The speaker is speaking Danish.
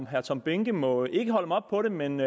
herre tom behnke må ikke holde mig op på det men